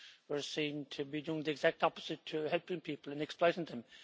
were seen to be doing the exact opposite to helping people and were exploiting them.